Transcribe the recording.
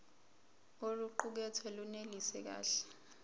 oluqukethwe lunelisi kahle